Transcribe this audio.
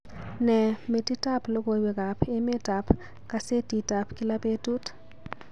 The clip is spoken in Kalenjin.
Ne metitab logoywekab emetab kasetitab kila betut